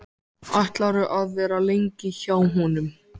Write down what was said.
Ætlarðu að vera lengi hjá honum?